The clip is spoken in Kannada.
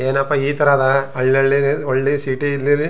ಏನಪ್ಪಾ ಈ ತರನ ಹಳ್ಳಿ ಹಳ್ಳಿ ಒಳ್ಳೆ ಸಿಟಿ ಲಿ --